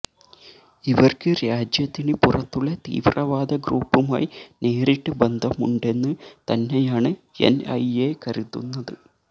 ഇവര്ക്ക് രാജ്യത്തിന് പുറത്തുള്ള തീവ്രവാദ ഗ്രൂപ്പുമായി നേരിട്ട് ബന്ധമുണ്ടെന്ന് തന്നെയാണ് എന് ഐ എ കരുതുന്നത്